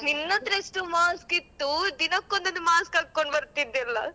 ನಿನ್ನತ್ರ ಎಷ್ಟು mask ಇತ್ತು ದಿನಕ್ಕೊಂದೊಂದು mask ಹಾಕೊಂಡ್ ಬರ್ತಿದ್ದಿಯಲ್ಲ?